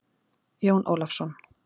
Jón Ólafsson.